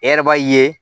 E yɛrɛ b'a ye